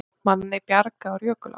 Manni bjargað úr jökulá